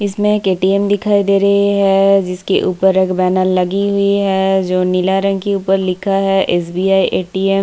इसमें एक एटीएम दिखाई दे रही है जिसके ऊपर एक बैनल लगी हुई है जो नीला रंग की ऊपर लिखा है एसबीआई एटीएम --